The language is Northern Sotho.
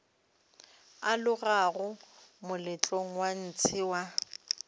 alogago moletlong wa ntshe wa